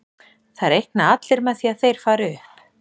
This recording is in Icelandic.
Það reikna allir með því að þeir fari upp.